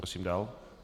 Prosím dál.